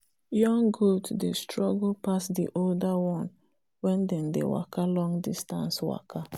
young goat dey struggle pass the older one wen they dey waka long distance waka